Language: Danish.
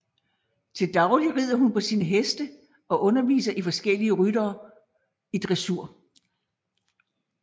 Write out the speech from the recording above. Til daglig rider hun på sine heste og underviser forskellige ryttere i dressur